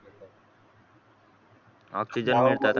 oxygen मिळतात